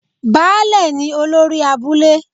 Baálẹ̀ ni olórí abúlé